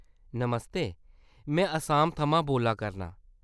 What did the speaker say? नमस्ते ! में असम थमां बोल्ला करनां।